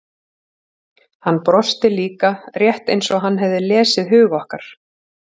Hann brosti líka, rétt eins og hann hefði lesið hug okkar.